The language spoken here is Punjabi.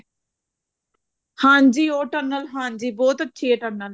ਹਾਂਜੀ ਉਹ tunnel ਹਾਂਜੀ ਬਹੁਤ ਅੱਛੀ ਆ tunnel